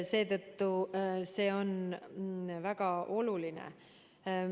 Seetõttu see on väga oluline.